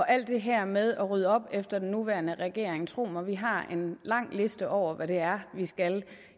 alt det her med at rydde op efter den nuværende regering tro mig vi har en lang liste over hvad det er vi skal